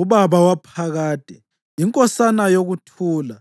uBaba Waphakade, iNkosana yokuThula.